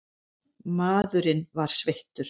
Maðurinn var sveittur.